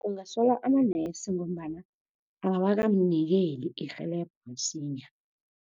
Ungasola amanese ngombana awakamnikeli irhelebho msinya.